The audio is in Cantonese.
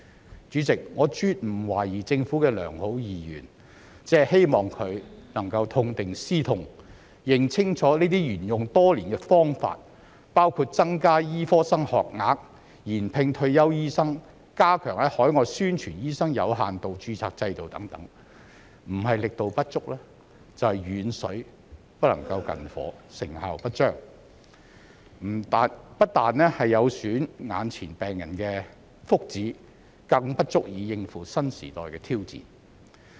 代理主席，我絕不懷疑政府的良好意願，只是希望它能夠痛定思痛，認清楚這些沿用多年的方法，包括增加醫科生學額、延聘退休醫生、加強在海外宣傳醫生有限度註冊制度等，不是力度不足，就是遠水不能救近火，成效不彰，不但有損眼前病人的福祉，更不足以應付新時代的挑戰。